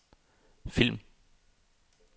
film